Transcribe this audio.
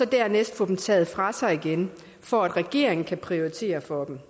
dernæst får dem taget fra sig igen for at regeringen kan prioritere for dem